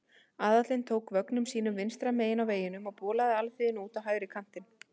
Aðallinn ók vögnum sínum vinstra megin á vegunum og bolaði alþýðunni út á hægri kantinn.